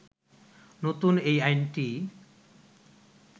নতুন এই আইনটি